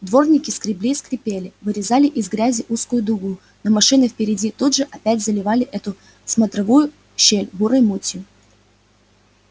дворники скребли и скрипели вырезали из грязи узкую дугу но машины впереди тут же опять заливали эту смотровую щель бурой мутью